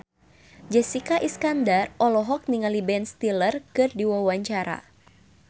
Jessica Iskandar olohok ningali Ben Stiller keur diwawancara